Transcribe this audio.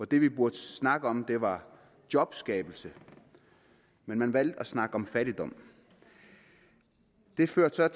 det vi burde snakke om var jobskabelse men man valgte at snakke om fattigdom det førte så